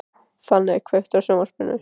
Fanney, kveiktu á sjónvarpinu.